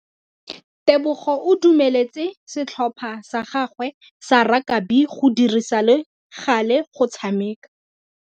Tebogô o dumeletse setlhopha sa gagwe sa rakabi go dirisa le galê go tshameka.